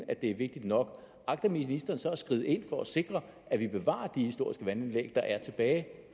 at det er vigtigt nok agter ministeren så at skride ind for at sikre at vi bevarer de historiske vandanlæg der er tilbage